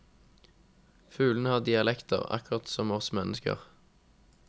Fuglene har dialekter, akkurat som oss mennesker.